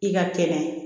I ka kɛnɛ